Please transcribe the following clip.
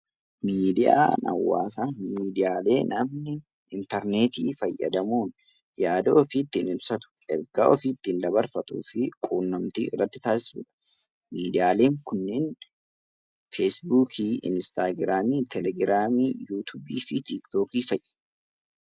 Miidiyaan Hawaasaa miidiyaalee namni interneetii fayyadamuun yaada ofii ittiin ibsatu, ergaa ofii ittiin dabarfatu fi quunnamtii irratti taasisu dha. Miidiyaaleen kunniin feesbuukii, Inistaagiraamii, teelegiraamii, yuutuubii fi tiiktookii fa'i.